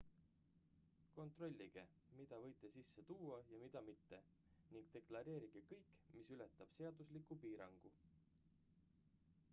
kontrollige mida võite sisse tuua ja mida mitte ning deklareerige kõik mis ületab seadusliku piirangu